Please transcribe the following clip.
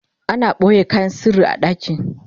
ana ɓoye kayan sirri a ɗaki